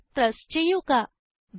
enter press ചെയ്യുക